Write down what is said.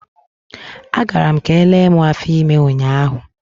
A gara m ka elee mụ afọ ime ụnyaahụ.